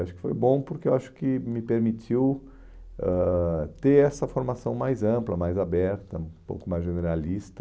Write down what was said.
Acho que foi bom porque eu acho que me permitiu ãh ter essa formação mais ampla, mais aberta, um pouco mais generalista.